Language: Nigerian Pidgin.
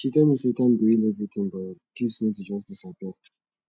she tell me sey time go heal everytin but guilt no dey just disappear